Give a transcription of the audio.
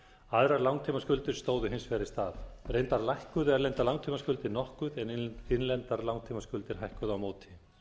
aðrar langtímaskuldir stóðu hins vegar í stað reyndar lækkuðu erlendar langtímaskuldir nokkuð en innlendar langtímaskuldir hækkuðu á móti